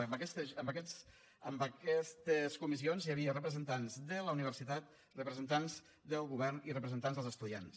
és a dir en aquestes comissions hi havia representants de la universitat representants del govern i representants dels estudiants